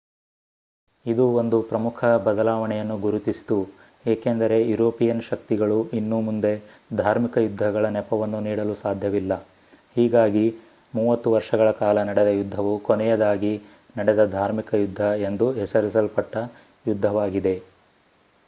ಇದು ಒಂದು ಪ್ರಮುಖ ಬದಲಾವಣೆಯನ್ನು ಗುರುತಿಸಿತು ಏಕೆಂದರೆ ಯುರೋಪಿಯನ್ ಶಕ್ತಿಗಳು ಇನ್ನು ಮುಂದೆ ಧಾರ್ಮಿಕ ಯುದ್ಧಗಳ ನೆಪವನ್ನು ನೀಡಲು ಸಾಧ್ಯವಿಲ್ಲ ಹೀಗಾಗಿ ಮೂವತ್ತು ವರ್ಷಗಳ ಕಾಲ ನಡೆದ ಯುದ್ಧವು ಕೊನೆಯದಾಗಿ ನಡೆದ ಧಾರ್ಮಿಕ ಯುದ್ಧ ಎಂದು ಹೆಸರಿಸಲ್ಪಟ್ಟ ಯುದ್ಧವಾಗಿದೆ